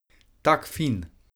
Tak fin.